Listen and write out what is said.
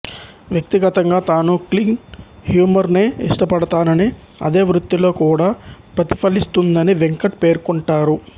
వ్యక్తిగతంగా తాను clean humour నే ఇష్టపడతాననీ అదే వృత్తిలో కూడా ప్రతిఫలిస్తుందని వెంకట్ పేర్కొంటారు